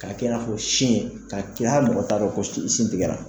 K'a kɛ n'a fɔ sin ka kɛ hali mɔgɔ t'a dɔn ko sin tigɛra